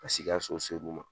Pasek'i ka so ser'u ma.